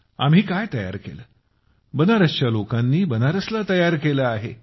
आम्ही काय बनवलं बनारसच्या लोकांनी बनारसला तयार केलं आहे